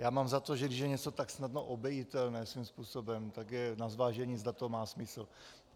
Já mám za to, že když je něco tak snadno obejitelné svým způsobem, tak je na zvážení, zda to má smysl.